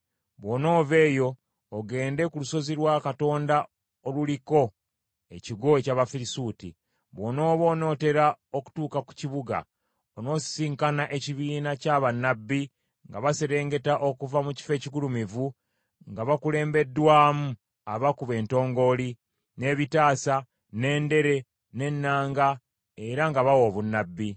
“Bw’onoova eyo ogenda ku Lusozi lwa Katonda oluliko ekigo eky’Abafirisuuti. Bw’onooba onootera okutuuka ku kibuga, onoosisinkana ekibiina kya bannabbi nga baserengeta okuva mu kifo ekigulumivu nga bakulembeddwamu abakuba entongooli, n’ebitaasa, n’endere, n’ennanga, era nga bawa obunnabbi.